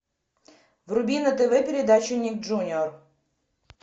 вруби на тв передачу ник джуниор